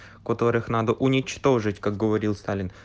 которых надо уничтожить как говорил сталин